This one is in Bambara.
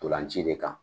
Ntolan ci de kan